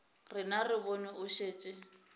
rena re bone o šetše